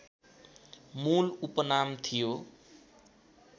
मूल उपनाम थियो